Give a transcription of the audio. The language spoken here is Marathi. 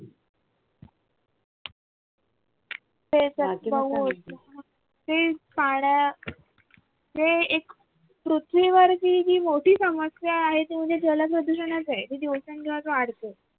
हे एक पृथ्वीवरची जी मोठी समस्या आहे ती म्हणजे जल प्रदूषणच आहे ते दिवसेंदिवस वाढतय